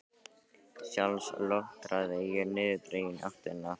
Sjálf lötraði ég niðurdregin í áttina þangað.